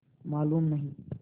मालूम नहीं